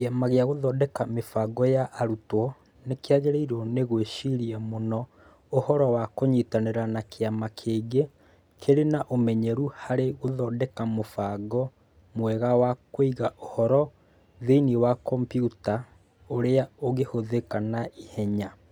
Kĩama gĩa Gũthondeka Mĩbango ya Arutwo nĩ kĩagĩrĩirwo nĩ gwĩciria mũno ũhoro wa kũnyitanĩra na kĩama kĩngĩ kĩrĩ na ũmenyeru harĩ gũthondeka mũbango mwega wa kũiga ũhoro thĩinĩ wa kompiuta ũrĩa ũngĩhũthĩka na ihenya.